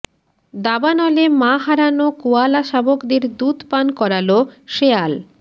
দাবানলে মা হারানো কোয়ালা শাবকদের দুধ পান করালো শেয়াল